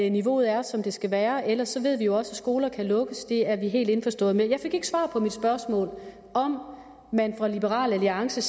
at niveauet er som det skal være ellers ved vi jo også at skoler kan lukkes det er vi helt indforstået med jeg fik ikke svar på mit spørgsmål om om liberal alliance